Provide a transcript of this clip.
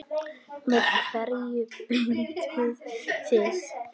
Með hverju beitið þið?